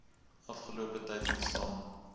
afgelope tyd ontstaan